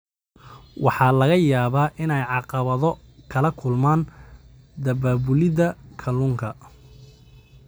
Waxaa laga yaabaa inay caqabado kala kulmaan daabulida kalluunka.